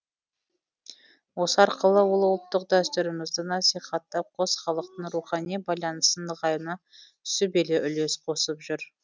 осы арқылы ол ұлттық дәстүрімізді насихаттап қос халықтың рухани байланысы нығаюына сүбелі үлес қосып жүр